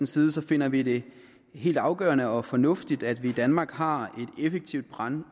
side finder vi det helt afgørende og fornuftigt at vi i danmark har et effektivt brand